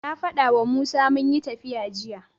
Na faɗawa Musa munyi tafiya jiya.